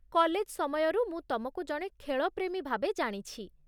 college ସମୟରୁ, ମୁଁ ତମକୁ ଜଣେ ଖେଳପ୍ରେମୀ ଭାବେ ଜାଣିଛି